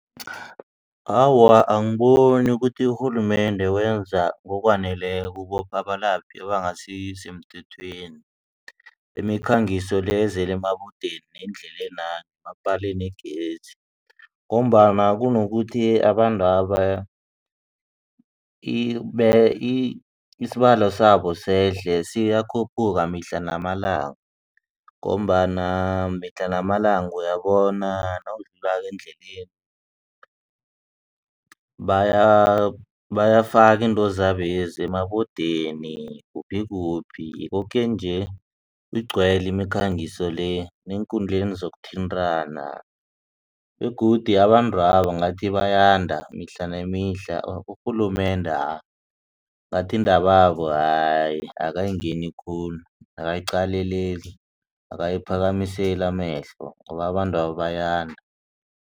Awa, angiboni ukuthi urhulumende wenza ngokwaneleko ukubopha abalaphi abangasisemthethweni imikhangiso le ezele emabodeni neendlelena nemapalenegezi ngombana kunokuthi abantwaba isibalo sabo sehle siyakhuphuka mihla namalanga. Ngombana mihla namalanga uyabona nawudlulako endleleni bayafaka iintozabezi emabodeni kuphi kuphi koke nje igcwele imikhangiso le neenkundleni zokuthintana begodu abantwaba ngathi bayanda mihla nemihla urhulumende hayi ngathi iindaba babo hayi akayiphakamseli amehlo ngoba abantwaba bayanda.